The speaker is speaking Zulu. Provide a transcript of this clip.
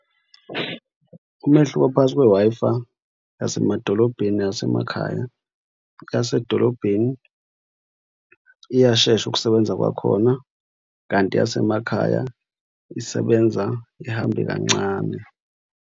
Umehluko phakathi kwe-Wi-Fi yasemadolobheni neyasemakhaya. Eyasedolobheni iyashesha ukusebenza kwakhona kanti eyasemakhaya isebenza ihambe kancane.